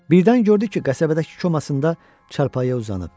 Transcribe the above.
Birdən gördü ki, qəsəbədəki kumasında çarpayıya uzanıb.